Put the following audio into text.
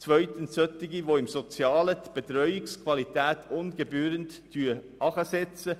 Zweitens bekämpfen wir Sparmassnahmen, die im sozialen Bereich die Betreuungsqualität ungebührlich herabsetzen.